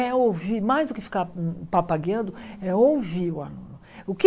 É ouvir, mais do que ficar papagueando, é ouvir o aluno. O que